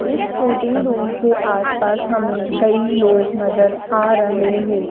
इस shooting room के आस पास हमें कई लोग नजर आ रहे हैं।